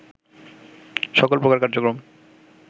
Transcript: সকল প্রকার কার্যক্রম